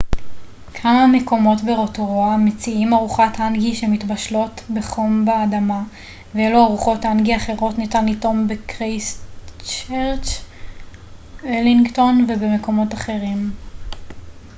כמה מקומות ברוטורואה מציעים ארוחות האנגי שמתבשלות בחום באדמה ואילו ארוחות האנגי אחרות ניתן לטעום בקרייסטצ'רץ ולינגטון ובמקומות אחרים